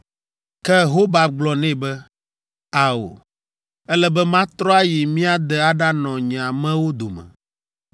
Ke Hobab gblɔ nɛ be, “Ao, ele be matrɔ ayi mía de aɖanɔ nye amewo dome.”